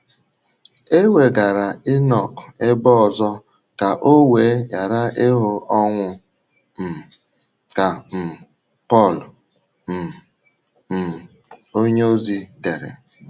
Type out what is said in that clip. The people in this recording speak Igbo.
“ E wegara Ịnọk ebe ọzọ ka o wee ghara ịhụ ọnwụ um, ” ka um Pọl um um onyeozi dere.